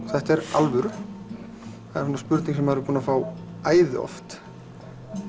þetta er alvöru það er spurning sem maður er búinn að fá æði oft